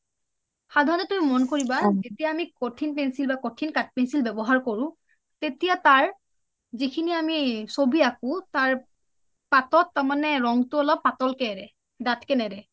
সাধৰণতে তুমি মন কৰিবা যেতিয়া আমি কঠিন বা কঠিন বা কঠিন কাঠ pencil আমি ব্যৱহাৰ কৰো তেতিয়া তাৰ যিসিনি আমি চবি আকো তাৰ পাতত তাৰমানে ৰংটো অলপ পাতলকে আহে দাঠকে নাহে